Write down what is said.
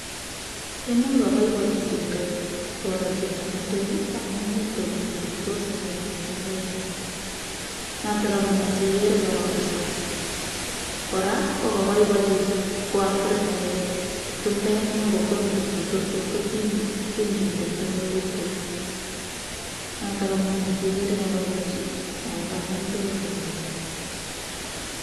imuch kabaibochi chumbek koro bik che chetui ko uch kaboiboichi eng agenge. noto amune si kere karariso .kora o much kaboichi waafrikek chumbek amu much ko tom kokere kotuitos kotiny eut eng eut kole noto amune si kere kabaibochi ako kamil tugul kororiso